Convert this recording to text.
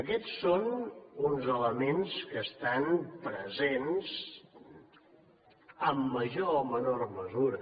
aquests són uns elements que estan presents en major o menor mesura